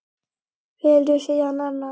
Velur síðan annan.